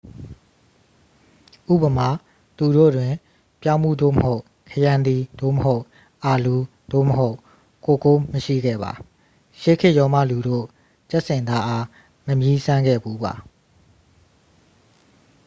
ဥပမာ သူတို့တွင် ပြောင်းဖူး သို့မဟုတ် ခရမ်းသီး သို့မဟုတ် အာလူး သို့မဟုတ် ကိုကိုး မရှိခဲ့ပါ ရှေးခေတ်ရောမလူတို့ ကြက်ဆင်သားအား မမြည်းစမ်းခဲ့ဖူးပါ